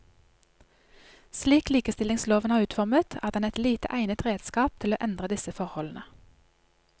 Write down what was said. Slik likestillingsloven er utformet, er den et lite egnet redskap til å endre disse forholdene.